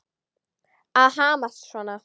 Að hamast svona.